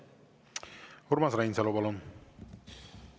Urmas Reinsalu, palun!